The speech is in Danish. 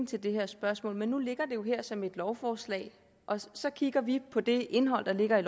til det her spørgsmål men nu ligger det jo her som et lovforslag og så kigger vi på det indhold der ligger i